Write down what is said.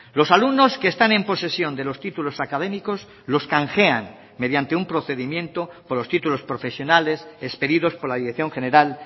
los alumnos que están en posesión de los títulos académicos los canjean mediante un procedimiento por los títulos profesionales expedidos por la dirección general